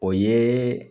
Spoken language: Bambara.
O ye